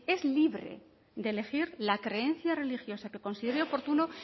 es libre de elegir la creencia religiosa que considere oportuna